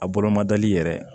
A bolomadali yɛrɛ